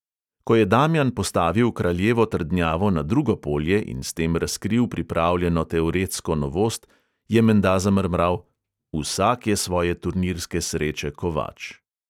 Ko je damjan postavil kraljevo trdnjavo na drugo polje in s tem razkril pripravljeno teoretsko novost, je menda zamrmral: vsak je svoje turnirske sreče kovač.